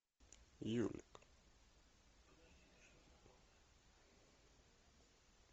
юлик